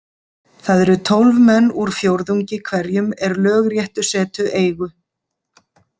Það eru tólf menn úr fjórðungi hverjum er lögréttusetu eigu.